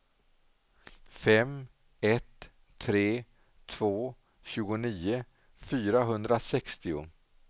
fem ett tre två tjugonio fyrahundrasextio